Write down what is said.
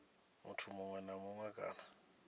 muthu muṅwe na muṅwe kana